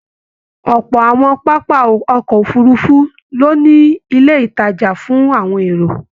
Ọpọ àwọn pápá ọkọ òfurùnfu lo ní ilé ìtajà fún àwọn èrò.